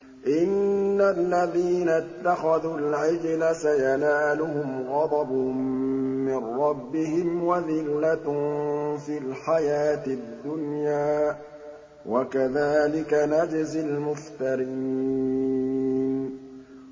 إِنَّ الَّذِينَ اتَّخَذُوا الْعِجْلَ سَيَنَالُهُمْ غَضَبٌ مِّن رَّبِّهِمْ وَذِلَّةٌ فِي الْحَيَاةِ الدُّنْيَا ۚ وَكَذَٰلِكَ نَجْزِي الْمُفْتَرِينَ